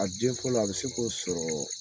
A den fɔlɔ a bi se ko sɔrɔ